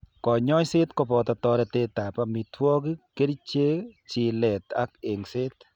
Kanyoiset ko boto toretetab amitwogik, kerichek, chilet ak eng'set.